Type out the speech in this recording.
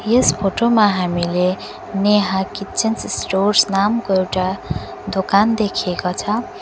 यस photo मा हामीले Neha kitchen stores नामको एउटा दोकान देखिएको छौ।